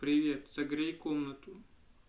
привет согрей комнату